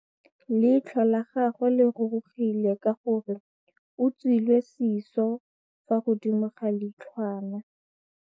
Leitlhô la gagwe le rurugile ka gore o tswile sisô fa godimo ga leitlhwana.